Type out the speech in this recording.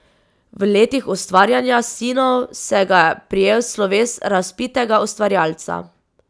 V letih ustvarjanja Sinov se ga je prejel sloves razvpitega ustvarjalca.